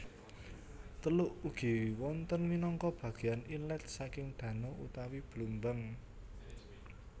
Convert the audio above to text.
Teluk ugi wonten minangka bageyan inlet saking dano utawi blumbang